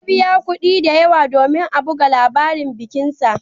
Ya biya kuɗi masu yawa domin a buga labarin bikinsa.